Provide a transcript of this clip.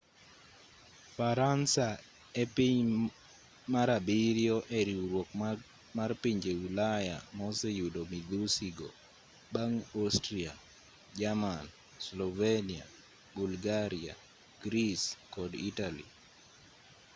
faransa epiny mar abiriyo e riwruok mar pinje ulaya ma oseyudo midhusi go bang' austria jerman slovenia bulgaria greece kod italy